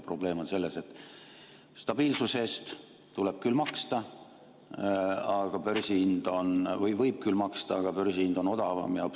Probleem on selles, et stabiilsuse eest tuleb küll maksta või võib küll maksta, aga börsihind on odavam.